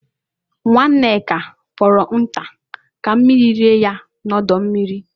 Nwa Nneka fọrọ nke nta ka mmiri rie n'ọdọ mmiri